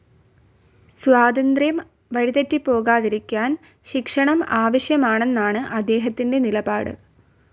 സ്വാതന്ത്ര്യം വഴിതെറ്റിപോകാതിരിക്കാൻ ശിക്ഷണം ആവശ്യമാണ്എന്നാണു അദ്ദേഹത്തിൻ്റെ നിലപാടു.